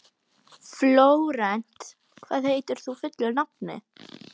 Flórent, hvað heitir þú fullu nafni?